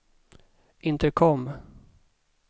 intercom